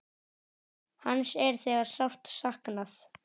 Hans er þegar sárt saknað.